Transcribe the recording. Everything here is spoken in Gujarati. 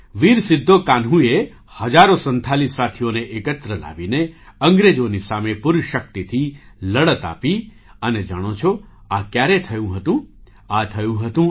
વીર સિદ્ધો કાન્હૂએ હજારો સંથાલી સાથીઓને એકત્ર લાવીને અંગ્રેજોની સામે પૂરી શક્તિથી લડત આપી અને જાણો છો આ ક્યારે થયું હતું આ થયું હતું ઈ